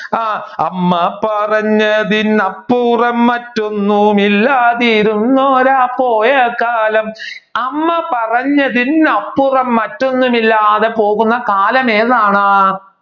ആഹ് അമ്മ പറഞ്ഞതിന് അപ്പുറം മറ്റൊന്നും ഇല്ലാതിരിന്നൊരാ പോയ കാലം അമ്മ പറഞ്ഞതിന് അപ്പുറം മറ്റൊന്നും ഇല്ലാതെ പോകുന്ന കാലം ഏതാണ്